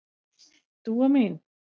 Dúa mín.